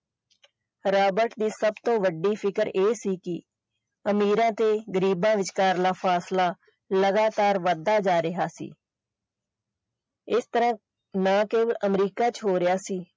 Robert ਦੀ ਸਬ ਤੋਂ ਵੱਡੀ ਸ਼ਿਕਰ ਇਹ ਸੀ ਕਿ ਅਮੀਰਾਂ ਤੇ ਗਰੀਬਾਂ ਵਿਚਕਾਰ ਦਾ ਫਾਸਲਾ ਲਗਾਤਾਰ ਵਧਦਾ ਜਾ ਰਿਹਾ ਸੀ ਇਹ ਸਿਰਫ ਨਾ ਕੇਵਲ ਅਮਰੀਕਾ ਚ ਹੋ ਰਿਹਾ ਸੀ।